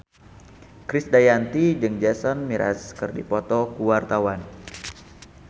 Krisdayanti jeung Jason Mraz keur dipoto ku wartawan